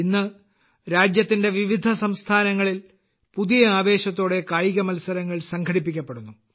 ഇന്ന് രാജ്യത്തിന്റെ വിവിധ സംസ്ഥാനങ്ങളിൽ പുതിയ ആവേശത്തോടെ കായിക മത്സരങ്ങൾ സംഘടിപ്പിക്കപ്പെടുന്നു